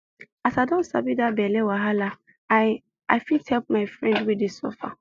as i don sabi that belle wahala i i fit help my friend wey dey suffer